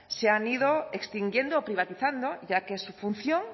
se han ido extinguiendo o privatizando ya que su función